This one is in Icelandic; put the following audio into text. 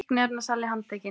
Fíkniefnasali handtekinn